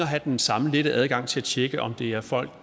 have den samme lette adgang til at tjekke om det er folk